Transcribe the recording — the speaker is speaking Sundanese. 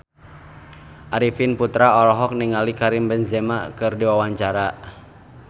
Arifin Putra olohok ningali Karim Benzema keur diwawancara